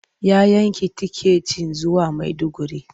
Ya yanki tiketin zuwa Maiduguri.